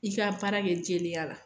I ka baara kɛ jɛlenya la.